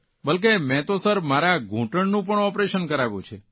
બલકે મે તો સર મારા ઘુંટણનું પણ ઓપરેશન કરાવ્યું છે